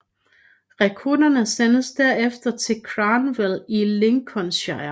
Rekrutterne sendtes derefter til Cranwell i Lincolnshire